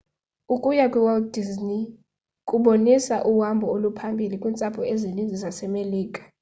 ukuya kwiwalt disney world kubonisa uhambo oluphambili kwiintsapho ezininzi zasemelika